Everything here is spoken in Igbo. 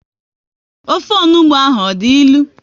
Ofe onugbu ahụ ọ dị ilu?